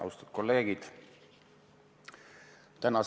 Austatud kolleegid!